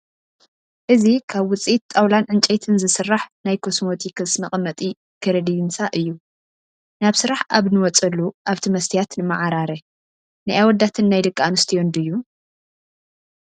እዚ ካብ ውፅኢተ ጣውላን ዕንጨይትን ዝስራሕ ናይ ኮስሞቲክስ መቐመጢ ከረዲንሳ እዩ፡፡ ናብ ስራሕ ኣብ ንወፀሉ ኣብቲ መስትያት ንማዓራረ፡፡ ናይ ኣወዳትን ናይ ደቂ ኣንስትዮን ድዩ?